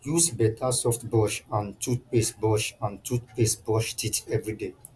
use better soft brush and toothpaste brush and toothpaste brush teeth every day